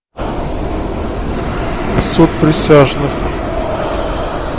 суд присяжных